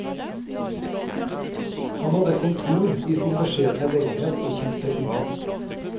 Han hadde kontor i sin beskjedne leilighet og kjente ingen.